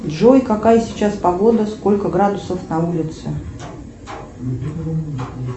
джой какая сейчас погода сколько градусов на улице